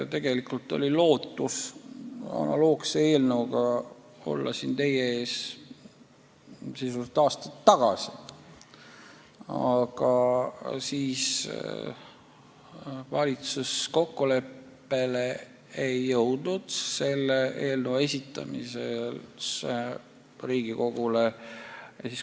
Tegelikult oli lootus olla analoogse eelnõuga siin teie ees aasta tagasi, aga siis ei jõudnud valitsus kokkuleppele selle eelnõu esitamises Riigikogule.